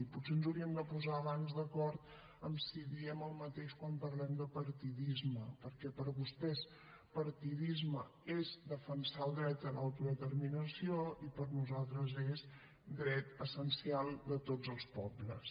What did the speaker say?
potser ens hauríem de posar abans d’acord amb si diem el mateix quan parlem de partidisme perquè per vostès partidisme és defensar el dret a l’autodeterminació i per nosaltres és dret essencial de tots els pobles